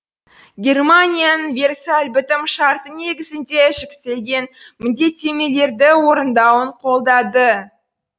германияның версаль бітім шарты негізінде жүктелген міндеттемелерді орындауын қолдады